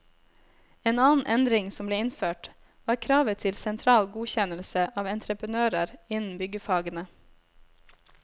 En annen endring som ble innført, var kravet til sentral godkjennelse av entreprenører innen byggfagene.